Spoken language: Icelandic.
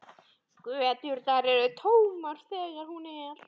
Göturnar eru tómar þegar hún er.